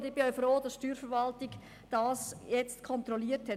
Ich bin auch froh, dass die Steuerverwaltung das nun kontrolliert hat.